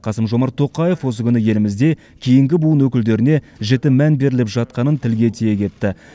қасым жомарт тоқаев осы күні елімізде кейінгі буын өкілдеріне жіті мән беріліп жатқанын тілге тиек етті